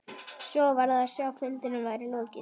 Svo var að sjá að fundinum væri lokið.